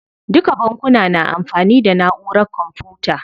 Duka bankuna na amfani da naʼurar kwamfuta.